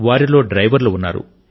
వారిలో డ్రైవర్లు ఉన్నారు